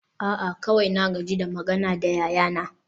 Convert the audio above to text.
a'a kawai na gaji da magana da yayana